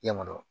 I ɲɛma dɔrɔn